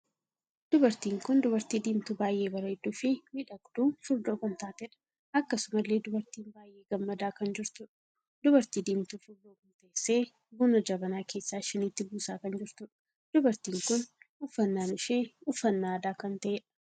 Dubartiin kun dubartii diimtuu baay'ee bareedduu fi miidhagduu furdoo kan taateedha. akkasumallee dubartiin baay'ee gammadaa kan jirtuudha. dubartii diimtuu furdoo kun teessee buna jabanaa keessaa shiniitti buusaa kan jirtudha. dubartiin kun uffannaan ishee uffannaa aadaa kan taheedha.